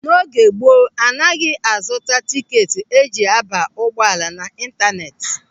N'oge gboo, a naghị a zụta tikeeti eji a ba n'ụgbọala na ịntanetị.